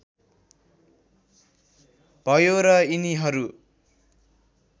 भयो र यिनीहरू